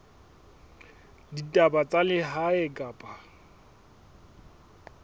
ya ditaba tsa lehae kapa